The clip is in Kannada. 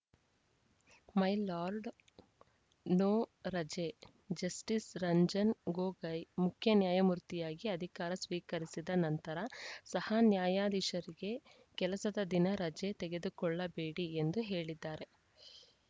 ಮೈ ಲಾರ್ಡ್‌ ನೋ ರಜೆ ಜಸ್ಟಿಸ್‌ ರಂಜನ್‌ ಗೊಗೋಯ್‌ ಮುಖ್ಯ ನ್ಯಾಯಮೂರ್ತಿಯಾಗಿ ಅಧಿಕಾರ ಸ್ವೀಕರಿಸಿದ ನಂತರ ಸಹ ನ್ಯಾಯಾಧೀಶರಿಗೆ ಕೆಲಸದ ದಿನ ರಜೆ ತೆಗೆದುಕೊಳ್ಳಬೇಡಿ ಎಂದು ಹೇಳಿದ್ದಾರೆ